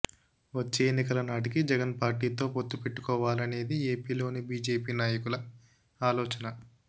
వచ్చే ఎన్నికలనాటికి జగన్ పార్టీ తో పొత్తు పెట్టుకోవాలనేది ఏపీలోని బిజెపి నాయకుల ఆలోచన